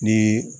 Ni